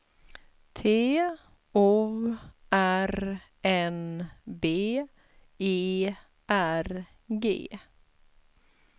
T O R N B E R G